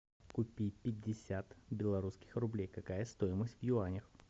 купить пятьдесят белорусских рублей какая стоимость в юанях